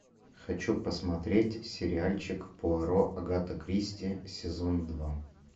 хочу посмотреть сериальчик пуаро агата кристи сезон два